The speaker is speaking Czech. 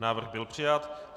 Návrh byl přijat.